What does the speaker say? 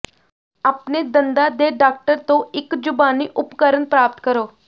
ਆਪਣੇ ਦੰਦਾਂ ਦੇ ਡਾਕਟਰ ਤੋਂ ਇੱਕ ਜ਼ੁਬਾਨੀ ਉਪਕਰਣ ਪ੍ਰਾਪਤ ਕਰੋ